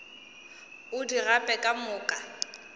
o di gape ka moka